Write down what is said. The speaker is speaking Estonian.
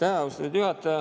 Aitäh, austatud juhataja!